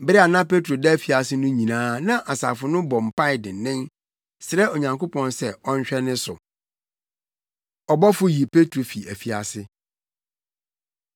Bere a na Petro da afiase no nyinaa na asafo no bɔ mpae dennen, srɛ Onyankopɔn sɛ ɔnhwɛ ne so. Ɔbɔfo Yi Petro Fi Afiase